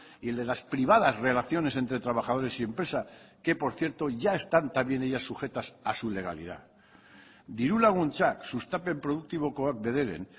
y el de las privadas relaciones entre trabajadores y empresa que por cierto ya están también ellas sujetas a su legalidad diru laguntzak sustapen produktibokoak bederen